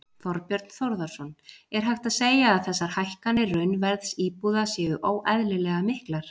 Þorbjörn Þórðarson: Er hægt að segja að þessar hækkanir raunverðs íbúða séu óeðlilega miklar?